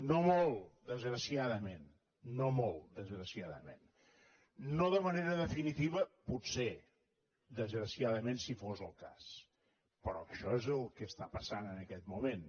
no molt desgraciadament no molt desgraciadament no de manera definitiva potser desgraciadament si fos el cas però això és el que està passant en aquest moment